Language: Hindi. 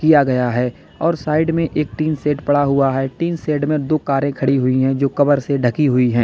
किया गया है और साइड में एक टीन शेड पड़ा हुआ है टीन सेड में दो कारें खड़ी हुई है जो कवर से ढकी हुई है।